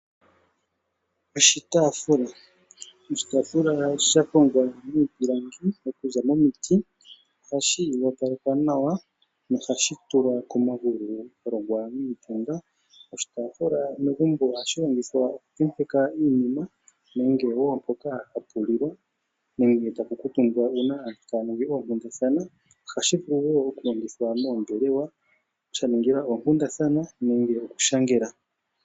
Oshitaafula Oshitaafuka osha hongwa miiilangi okuza momiti, ohashi opalekwa nawa nohashi kala komagulu sha longwa niitenda. Oshitaafula megumbo ohashi longithwa okutentekwa iinima nenge mpoka hapu lilwa nenge tapu kuutumbwa uuna aantu taya ningi oonkundathana. Ohashi vulu wo okulongithwa moombelewa, sha ningilwa oonkundathana nenge okushangelwa.